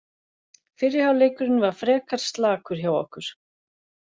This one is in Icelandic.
Fyrri hálfleikurinn var frekar slakur hjá okkur.